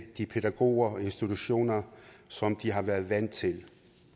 de pædagoger og institutioner som de har været vant til